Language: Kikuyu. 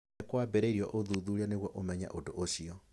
Nĩ kwambĩrĩirio ũthuthuria nĩguo ũmenye ũndũ ũcio.